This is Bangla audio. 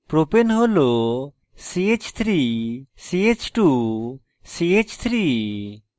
propane হল ch3ch2ch3